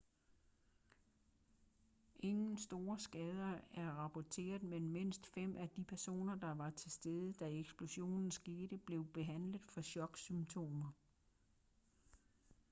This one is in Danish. ingen store skader er rapporteret men mindst fem af de personer der var til stede da eksplosionen skete blev behandlet for choksymptomer